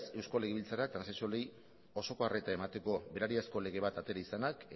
eusko legebiltzarrak transexualei osoko arreta emateko berariazko lege bat atera izanak